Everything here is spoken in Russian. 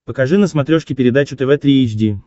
покажи на смотрешке передачу тв три эйч ди